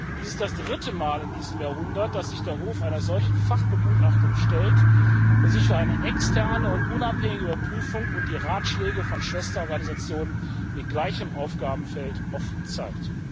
Dies ist das dritte Mal in diesem Jahrhundert, dass sich der Hof einer solchen Fachbegutachtung stellt und sich für eine externe und unabhängige Überprüfung und die Ratschläge von Schwesterorganisationen mit gleichem Aufgabenfeld offen zeigt.